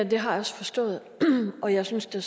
det har jeg også forstået og jeg synes da